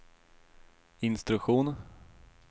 instruktion